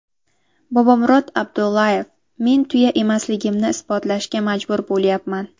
Bobomurod Abdullayev: Men tuya emasligimni isbotlashga majbur bo‘lyapman.